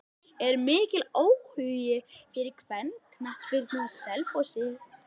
Er mikill áhugi fyrir kvennaknattspyrnu á Selfossi?